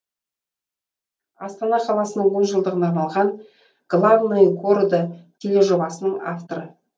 астана қаласының он жылдығына арналған главные города тележобасының авторы